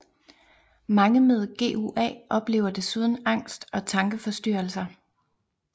Mange med GUA oplever desuden angst og tankeforstyrrelser